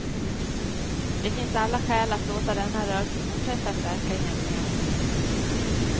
Det finns alla skäl att låta denna rörelse fortsätta att verka i hemlighet.